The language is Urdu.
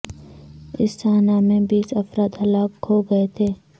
اس سانحہ میں بیس افراد ہلاک ہو گئے تھے